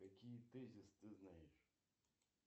какие тезис ты знаешь